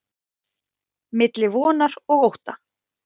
Milli vonar og ótta.